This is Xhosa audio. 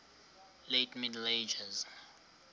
late middle ages